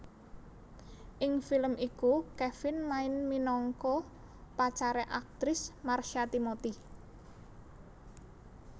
Ing film iku Kevin main minangka pacare aktris Marsha Timothy